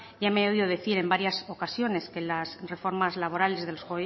ya me ha oído decir en varias ocasiones que las reformas laborales de los